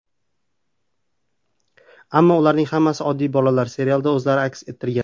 Ammo ularning hammasi oddiy bolalar, serialda o‘zlarini aks ettirgan.